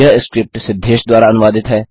यह स्क्रिप्ट सिद्धेश द्वारा अनुवादित है